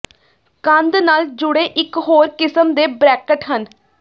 ਕੰਧ ਨਾਲ ਜੁੜੇ ਇਕ ਹੋਰ ਕਿਸਮ ਦੇ ਬਰੈਕਟ ਹਨ